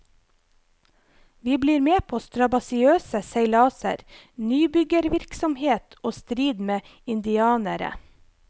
Vi blir med på strabasiøse seilaser, nybyggervirksomhet og strid med indianere.